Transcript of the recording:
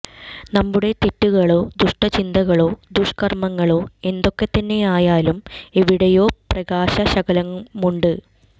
നമ്മുടെ തെറ്റുകളോ ദുഷ്ടചിന്തകളോ ദുഷ്കര്മങ്ങളോ എ ന്തൊക്കെത്തന്നെയായാലും എ വിടെയോ പ്രകാശശകലമുണ്ട്